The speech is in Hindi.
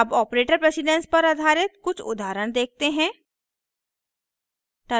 अब ऑपरेटर प्रेसिडेन्स पर आधारित कुछ उदाहरण देखते हैं